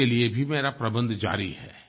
इसके लिए भी मेरा प्रबन्ध जारी है